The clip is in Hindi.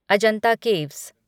अजंता केव्स